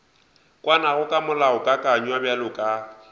kwanago ka molaokakanywa bjalo ka